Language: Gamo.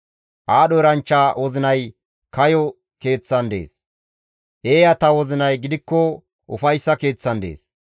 Aadho eranchcha wozinay kayo keeththan dees; eeyata wozinay gidikko ufayssa keeththan dees.